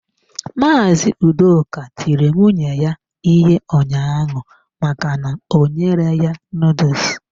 Mazị Udoka tiri nwunye ya ihe ụnyaahụ maka na o nyere ya noodles.